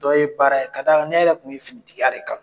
Dɔw ye baara ye ka da kan ne yɛrɛ kun ye finitigiya de kanu.